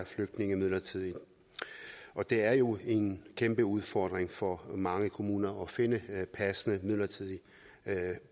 flygtninge midlertidigt det er jo en kæmpe udfordring for mange kommuner at finde passende midlertidige